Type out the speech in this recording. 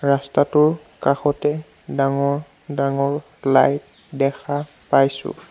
ৰাস্তাটোৰ কাষতে ডাঙৰ ডাঙৰ লাইট দেখা পাইছোঁ।